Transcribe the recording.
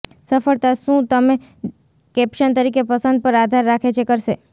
સફળતા શું તમે કેપ્શન તરીકે પસંદ પર આધાર રાખે છે કરશે